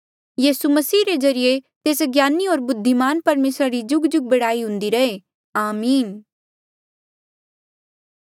यीसू मसीह रे ज्रीए तेस ज्ञानी होर बुद्धिमान परमेसरा री जुगजुग बढ़ाई हुन्दी रहे आमीन